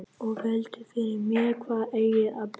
Og velti fyrir mér hvar eigi að byrja.